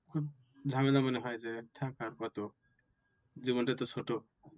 ঝামেলা মনে হয় যে থাক আর কত? জীবনটা তো ছোট।